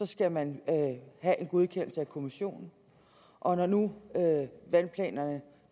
skal man have en godkendelse af kommissionen og når nu vandplanerne